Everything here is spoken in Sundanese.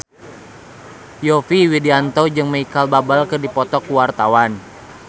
Yovie Widianto jeung Micheal Bubble keur dipoto ku wartawan